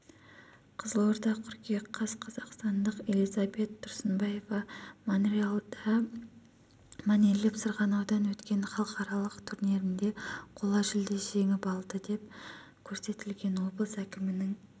қызылорда қыркүйек қаз қазақстандық элизабет тұрсынбаева монреальда мәнерлеп сырғана дан өткен халықаралық турнирінде қола жүлде жеңіп алды деп көрсетілген облыс әкімінің